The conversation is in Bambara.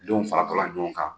Den faratɔ la ɲɔgɔn kan.